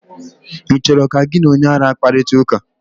ị chọrọ ka gị na onye ara kparịta ụka?